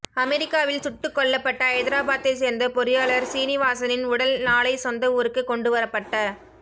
அமெரிக்காவில் சுட்டுக்கொல்லப்பட்ட ஐதராபாத்தை சேர்ந்த பொறியாளர் சீனிவாசனின் உடல் நாளை சொந்த ஊருக்கு கொண்டு வரப்பட்ட